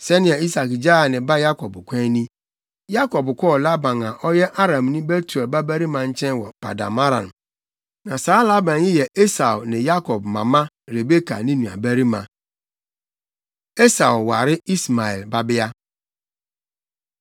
Sɛnea Isak gyaa ne ba Yakob kwan ni: Yakob kɔɔ Laban a ɔyɛ Aramni Betuel babarima nkyɛn wɔ Paddan-Aram. Na saa Laban yi yɛ Esau ne Yakob mama Rebeka ne nuabarima. Esau Ware Ismael Babea